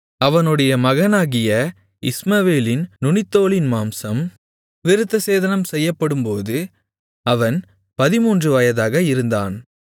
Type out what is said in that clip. அவனுடைய மகனாகிய இஸ்மவேலின் நுனித்தோலின் மாம்சம் விருத்தசேதனம் செய்யப்படும்போது அவன் 13 வயதாக இருந்தான்